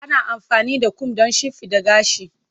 Ana amfani da kom don shimfiɗa gashi.